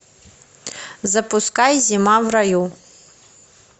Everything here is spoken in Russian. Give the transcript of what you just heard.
запускай зима в раю